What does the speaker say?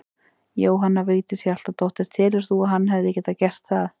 Jóhanna Vigdís Hjaltadóttir: Telur þú að hann hefði getað gert það?